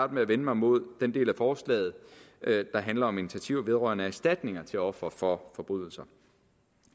med at vende mig mod den del af forslaget der handler om initiativer vedrørende erstatninger til ofre for forbrydelser